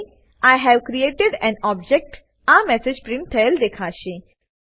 તમને I have created an object આ message print થયેલ દેખાશે